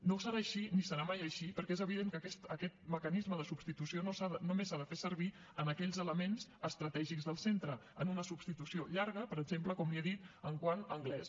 no serà així ni serà mai així perquè és evident que aquest mecanisme de substitució només s’ha de fer servir en aquells elements estratègics del centre en una substitució llarga per exemple com li he dit quant a anglès